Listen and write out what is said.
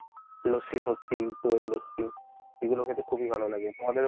লস্যি ফোসসি, দইয়ের লস্যি, এগুলো খেতে খুবই ভালো লাগে তোমাদের